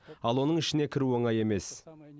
ал оның ішіне кіру оңай емес